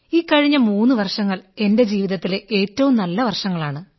ഈ കഴിഞ്ഞ മൂന്നു വർഷങ്ങൾ എന്റെ ജീവിതത്തിലെ ഏറ്റവു നല്ല വർഷങ്ങളാണ്